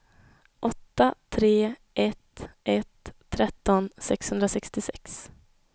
åtta tre ett ett tretton sexhundrasextiosex